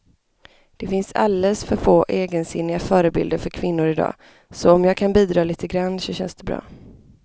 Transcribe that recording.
Det finns alldeles för få egensinniga förebilder för kvinnor i dag, så om jag kan bidra lite grann så känns det bra.